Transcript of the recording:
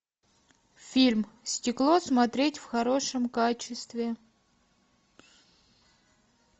фильм стекло смотреть в хорошем качестве